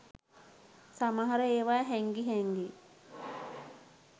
සමහර ඒවා හැංගි හැංගි